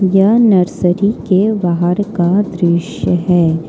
यह नर्सरी के बाहर का दृश्य है।